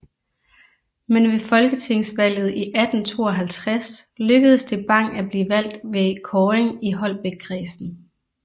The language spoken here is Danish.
Men ved folketingsvalget i 1852 lykkedes det Bang at blive valgt ved kåring i Holbækkredsen